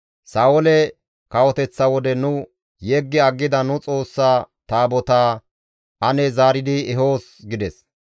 Sa7oole kawoteththa wode nuni yeggi aggida nu Xoossa Taabotaa ane zaaridi ehoos» gides.